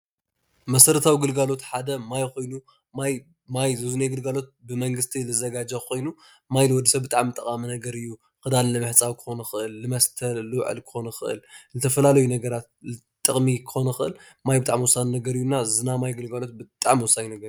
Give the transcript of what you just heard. መሰረታዊ ግለጋሎት ሓደ ማይ ኮይኑ ማይ ግልጋሎት ብመንግስቲ ዝዘጋጆ ኮይኑ ማይ ንወዲሰብ ብጣዕሚ ጠቃሚ ነገር እዩ። ክዳን ንምሕፃብ ክኮን ይክእል ፣ንመስተ ክኮን ይክእል ፣ ንዝተፈላለዩ ነገራት ክኮን ይክእል ፤ማይ ብጣዕሚ ወሳኒ ነገር እዩ እና እና ዝናይ ማይ ግልጋሎት ብጣዕሚ ወሳኒ ነገር እዩ።